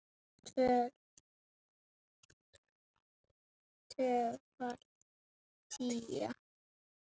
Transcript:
Tvöföld tía.